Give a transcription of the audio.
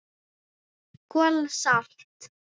KOL SALT